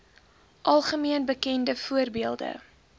algemeen bekende voorbeelde